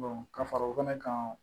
ka fara o fɛnɛ kan